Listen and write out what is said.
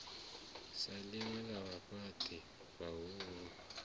sa ḽinwe ḽa vhafhaṱi vhahulu